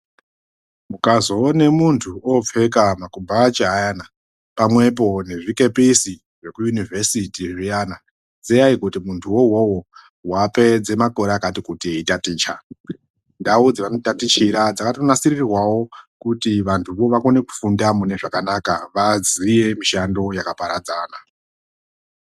Muakzoone muntu opfeka makubhachi ayana pamwepo nezvikepisi zvekuyunivhesiti zviyana ziyai kuti muntuwo uwowo wapedze makore akati kuti eitaticha, ndau dzevanotatichira dzakatonasirirwawo kuti vantuvo vakone kufunda mune zvakanaka vaziye mishando yakaparadzana.